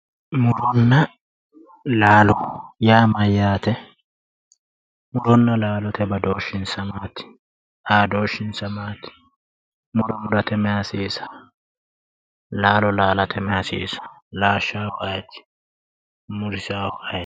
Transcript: Muronna laalo yaa mayyaate? muronna laalote badooshshinsa maati? xaadooshshinsa maati? muro murate mayi hasiisawo laalate mayi hasiisawo laashshaahu ayeeti?